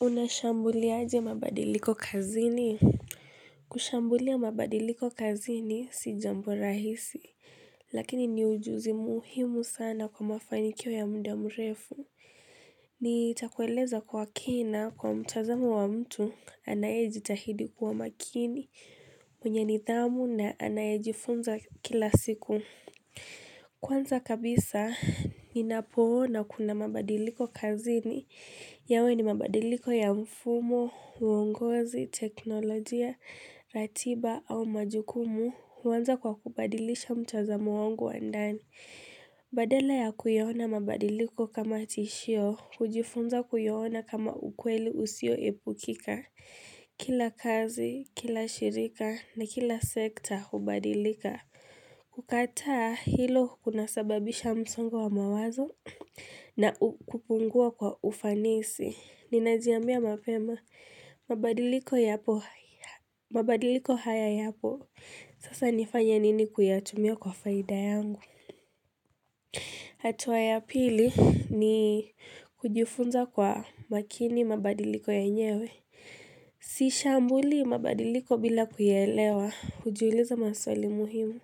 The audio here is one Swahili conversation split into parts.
Unashambuliaje mabadiliko kazini? Kushambulia mabadiliko kazini si jambo rahisi, lakini ni ujuzi muhimu sana kwa mafanikio ya mda mrefu. Ni takueleza kwa kina kwa mtazamo wa mtu anayejitahidi kuwa makini, mwenye nithamu na anayejifunza kila siku. Kwanza kabisa, nina poona kuna mabadiliko kazini. Yawe ni mabadiliko ya mfumo, uongozi, teknolojia, ratiba au majukumu. Uanza kwa kubadilisha mtazamo wangu wa ndani. Badala ya kuyaona mabadiliko kama tishio, ujifunza kuiona kama ukweli usio epukika. Kila kazi, kila shirika na kila sekta hubadilika. Kukataa hilo kuna sababisha msongo wa mawazo na kupungua kwa ufanisi Ninajiambia mapema, mabadiliko haya ya po Sasa nifanya nini kuyatumio kwa faida yangu hatua ya pili ni kujifunza kwa makini mabadiliko yenyewe Siishambulii mabadiliko bila kuyaelewa, ujiuliza maswali muhimu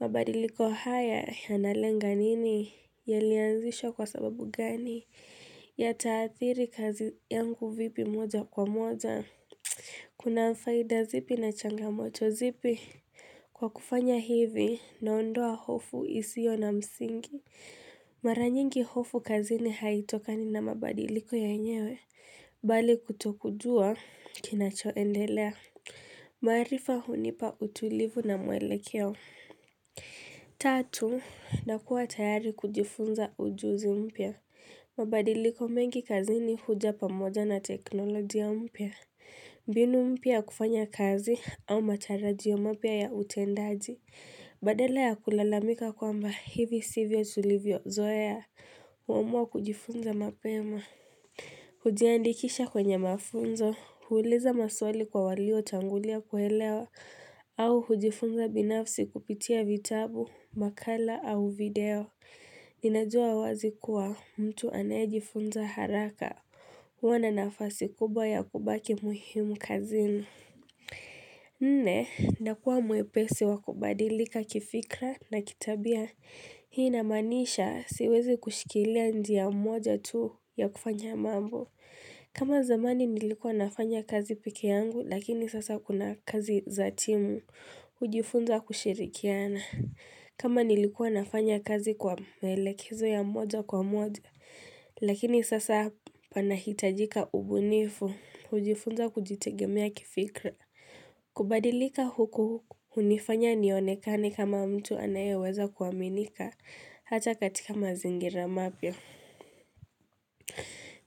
mabadiliko haya ya nalenga nini ya lianzishwa kwa sababu gani ya taathiri kazi yangu vipi moja kwa moja. Kuna faida zipi na changa moto zipi. Kwa kufanya hivi naondoa hofu isio na msingi. Maranyingi hofu kazi ni haitokani na mabadiliko yenyewe. Bali kutokujua kinachoendelea. Maarifa hunipa utulivu na mwelekeo. Tatu, nakuwa tayari kujifunza ujuzi mpia mabadiliko mengi kazi ni huja pamoja na teknolojia mpia mbinu mpia kufanya kazi au matarajio mapia ya utendaji Badala ya kulalamika kwa mba hivi sivyo tulivyo zoea huamua kujifunza mapema Hujia ndikisha kwenye mafunzo, huuliza maswali kwa walio tangulia kuelewa au hujifunza binafsi kupitia vitabu, makala au video. Ninajua wazi kuwa mtu anajifunza haraka, huwana nafasi kubwa ya kubaki muhimu kazini. Nne, nakuwa mwepesi wakubadilika kifikra na kitabia. Hii inamaanisha siwezi kushikilia njia moja tu ya kufanya mambo. Kama zamani nilikuwa nafanya kazi pekee yangu lakini sasa kuna kazi zatimu. Ujifunza kushirikiana. Kama nilikuwa nafanya kazi kwa maelekezo ya moja kwa moja lakini sasa panahitajika ubunifu. Ujifunza kujitegemea kifikra. Kubadilika huku unifanya nionekani kama mtu anayeweza kuaminika hata katika mazingira mapia.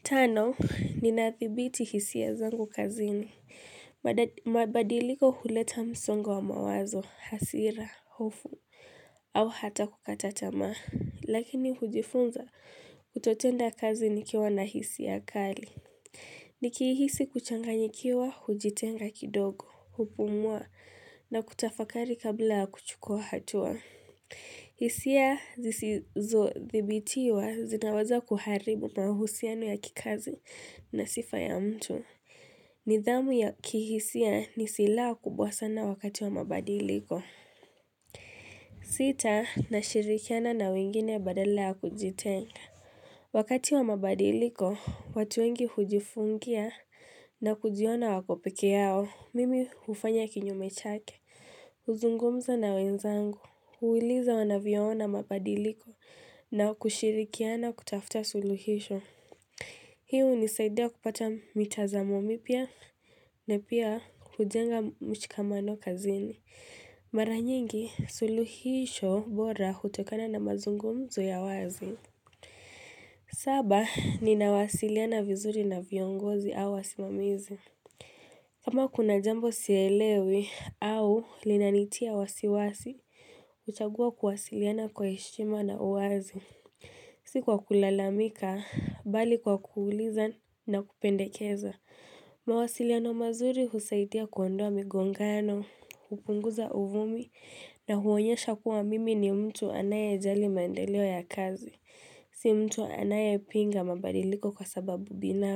Tano, ninathibiti hisia zangu kazini. Mabadiliko huleta msongo wa mawazo, hasira, hofu au hata kukata tamaa. Lakini hujifunza kutotenda kazi nikiwa na hisia kali. Ni kihisi kuchanganyikiwa, hujitenga kidogo, hupumua na kutafakari kabla kuchukua hatua. Hisia zisizo thibitiwa zinawaza kuharibu mahusiano ya kikazi na sifa ya mtu. Nidhamu ya kihisia ni silaha kubwa sana wakati wa mabadiliko. Sita, nashirikiana na wengine badala ya kujitenga. Wakati wa mabadiliko, watu wengi hujifungia na kujiona wakopekee yao, mimi hufanya kinyume chake. Uzungumza na wenzangu. Huuliza wanavyoona mabadiliko na kushirikiana kutafuta suluhisho. Hii u nisaidia kupata mitazamo mipia na pia kujenga mshikamano kazini. Maranyingi suluhisho bora hutokana na mazungumzu ya wazi. Saba, ninawasiliana vizuri na viongozi au wasimamizi. Kama kuna jambo sielewi au linanitia wasiwasi, uchagua kuwasiliana kwa heshima na uwazi. Sikuwa kulalamika, bali kwa kuuliza na kupendekeza. Mawasiliano mazuri husaidia kuondoa migongano, kupunguza uvumi na huonyesha kuwa mimi ni mtu anaye jali maendeleo ya kazi. Si mtu anaye pinga mabadiliko kwa sababu bina.